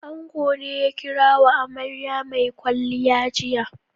Ango ne ya kira wa amarya mai kwalliya jiya.